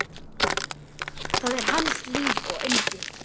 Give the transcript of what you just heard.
Það er hans líf og yndi.